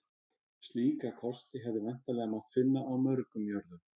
Slíka kosti hefði væntanlega mátt finna á mörgum jörðum.